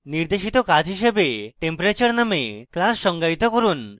নির্দেশিত কাজ হিসাবে: temperature named class সঙ্গায়িত করুন